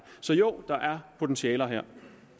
så jo der er potentialer her